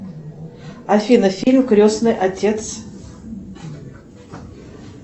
афина фильм крестный отец